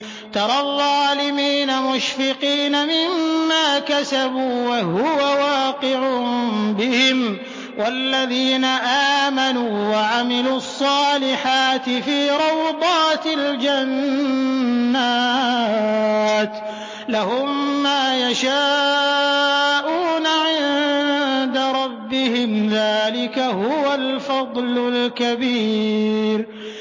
تَرَى الظَّالِمِينَ مُشْفِقِينَ مِمَّا كَسَبُوا وَهُوَ وَاقِعٌ بِهِمْ ۗ وَالَّذِينَ آمَنُوا وَعَمِلُوا الصَّالِحَاتِ فِي رَوْضَاتِ الْجَنَّاتِ ۖ لَهُم مَّا يَشَاءُونَ عِندَ رَبِّهِمْ ۚ ذَٰلِكَ هُوَ الْفَضْلُ الْكَبِيرُ